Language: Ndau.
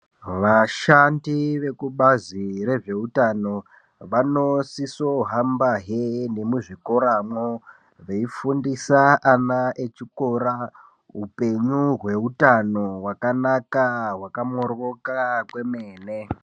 Vashandi vekubazi rezveutano, vanosisohambahe nemuzvikoramwo, veifundisa ana echikora upenyu hweutano, hwakanaka, hwakamoryoka kwemene.